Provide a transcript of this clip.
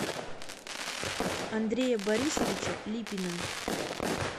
андрея борисовича липина